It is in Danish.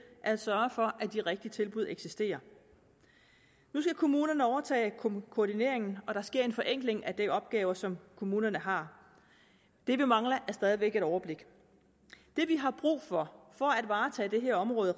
at sørge for at de rigtige tilbud eksisterer nu skal kommunerne overtage koordineringen og der sker en forenkling af de opgaver som kommunerne har det vi mangler er stadig væk et overblik det vi har brug for for at varetage det her område